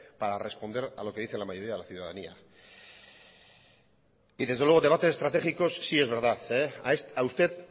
para responder a lo que dice la mayoría de la ciudadanía y desde luego debates estratégicos síes verdad a usted